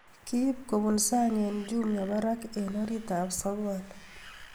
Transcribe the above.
Kiib kobun sang eng Jumia barak eng oritab sokol